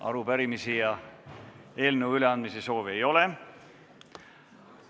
Arupärimiste ega eelnõude üleandmise soovi ole.